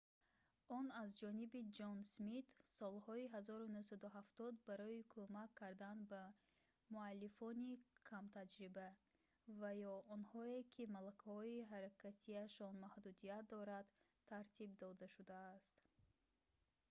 он аз ҷониби ҷон смит солҳои 1970 барои кӯмак кардан ба муаллифони камтаҷриба ва ё онҳое ки малакаҳои ҳаракатиашон маҳдудият дорад тартиб дода шудааст